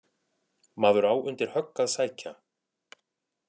Maður á undir högg að sækja.